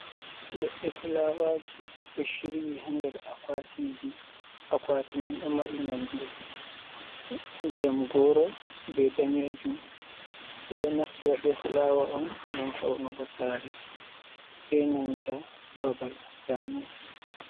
Leɗɗe fulawaji ɗo shiryi haa nder akwatiji. Akwati man ɗo mari nonde ndiyam goro be daneejum. Ɓe ɗo naftira be fulawa on ngam faunugo sare be nanta babal bannin.